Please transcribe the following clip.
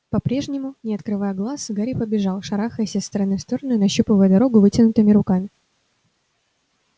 по-прежнему не открывая глаз гарри побежал шарахаясь из стороны в сторону и нащупывая дорогу вытянутыми руками